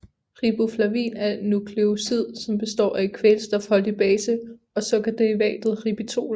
Riboflavin er et nukleosid som består af en kvælstofholdig base og sukkerderivatet ribitol